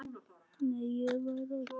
Nei, ég var með þeim.